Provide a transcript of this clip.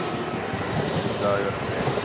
Í dag erum við ein.